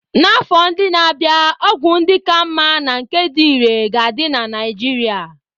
N'afọ ndị na-abịa, ọgwụ ndị ka mma na nke dị irè ga-adị na Naijiria.